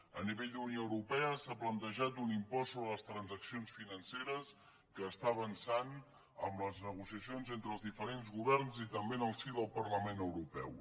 a nivell d’unió europea s’ha plantejat un impost sobre les transaccions financeres que està avançant amb les negociacions entre els diferents governs i també en el si del parlament europeu